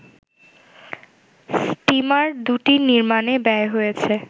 steamer দুটি নির্মাণে ব্যয় হয়েছে